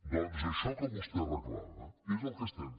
doncs això que vostè reclama és el que fem